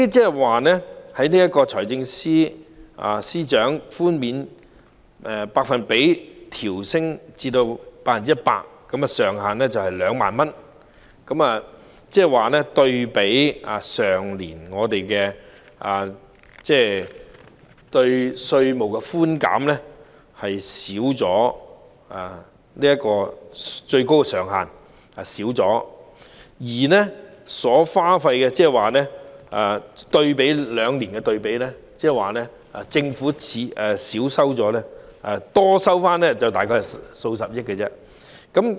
現時，財政司司長將寬免百比分調高至 100%， 上限仍為2萬元，可見與去年的稅務寬減措施對比，最高上限有所減少，而以這兩年作對比，政府只多收回大概數十億元而已。